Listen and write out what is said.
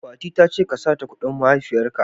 Fati ta ce ka sata kudin mahaifiyar ka.